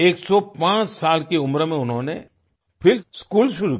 105 साल की उम्र में उन्होंने फिर स्कूल शुरू किया